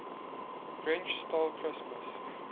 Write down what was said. grinch stole christmas